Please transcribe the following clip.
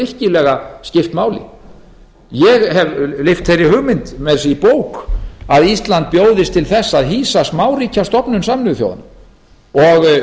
virkilega skipt máli ég hef lyft þeirri hugmynd meira að segja í bók að að ísland bjóðist til þess að hýsa smáríkjastofnun sameinuðu þjóðanna og